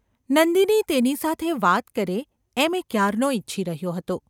નંદિની તેની સાથે વાત કરે એમ એ ક્યારનો ઇચ્છી રહ્યો હતો.